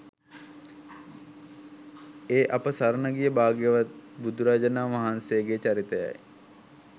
ඒ අප සරණ ගිය භාග්‍යවත් බුදුරජාණන් වහන්සේගේ චරිතයයි.